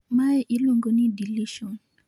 Mae iluongo ni deletion